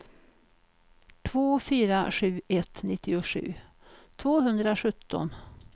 två fyra sju ett nittiosju tvåhundrasjutton